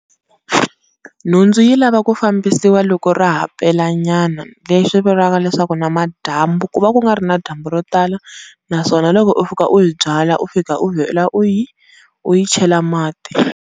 Nhundzu yi lava ku fambisiwa loko ra ha pelanyana, leswi vulaka leswaku namadyambu ku va ku nga ri na dyambu ro tala naswona loko u fika u yi byala u fika u vhela u yi u yi chela mati.